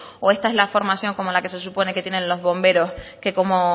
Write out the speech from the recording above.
o esta es la formación como la que se supone que tienen los bomberos que como